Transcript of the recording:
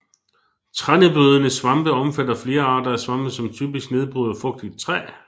Trænedbrydende svampe omfatter flere arter af svampe som typisk nedbryder fugtigt træ